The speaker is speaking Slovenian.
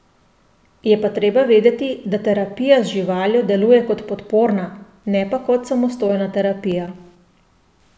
Je pa treba vedeti, da terapija z živaljo deluje kot podporna, ne pa kot samostojna terapija.